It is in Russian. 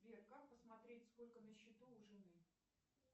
сбер как посмотреть сколько на счету у жены